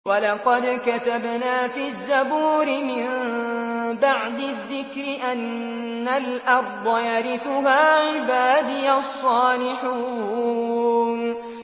وَلَقَدْ كَتَبْنَا فِي الزَّبُورِ مِن بَعْدِ الذِّكْرِ أَنَّ الْأَرْضَ يَرِثُهَا عِبَادِيَ الصَّالِحُونَ